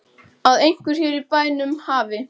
Að einhver hér í bænum hafi.